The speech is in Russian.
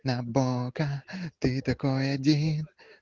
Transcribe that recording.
набока ты такой один